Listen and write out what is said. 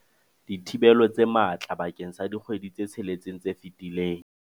dithibelo tse matla bakeng sa dikgwedi tse tsheletseng tse fetileng.